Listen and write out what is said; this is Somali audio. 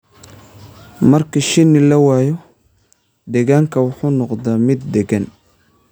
Marka shinni la waayo, deegaanku wuxuu noqdaa mid deggan.